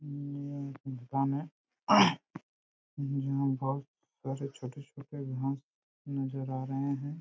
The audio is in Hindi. यह एक फार्म है यहाँ बहुत छोटे छोटे घास नज़र आ रहे है।